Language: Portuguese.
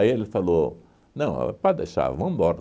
ele falou, não, pode deixar, vamos embora.